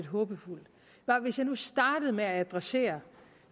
håbefuld hvis jeg nu startede med at adressere